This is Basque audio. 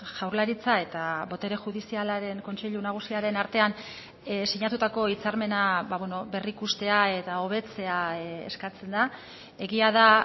jaurlaritza eta botere judizialaren kontseilu nagusiaren artean sinatutako hitzarmena berrikustea eta hobetzea eskatzen da egia da